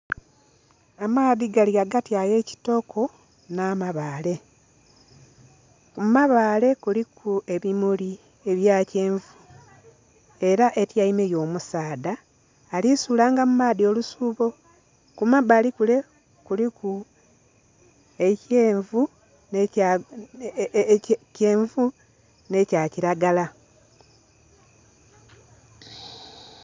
Amaadhi gali ghagati aghe kitoko nha mabale, ku mabale kuliku ebimuli ebya kyenvu era etyaime yo omusaadha ali sulanga mu maadhi olusubo, ku ma bali mule kuliku ekyenvu nhe kya kilagala.